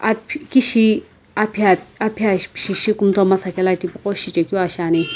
aphi kishi aphi a aphi ashi shikumtomasa kela tipaqo shichekeu aa shiani.